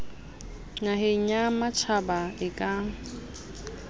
naheng ya matjhaba e ka